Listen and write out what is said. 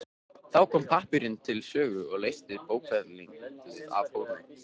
Þá kom pappírinn til sögu og leysti bókfellið af hólmi.